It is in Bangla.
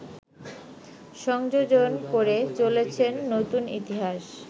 সংযোজন করে চলেছেন নতুন ইতিহাস